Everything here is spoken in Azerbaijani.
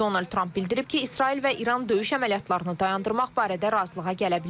Prezident Donald Tramp bildirib ki, İsrail və İran döyüş əməliyyatlarını dayandırmaq barədə razılığa gələ bilər.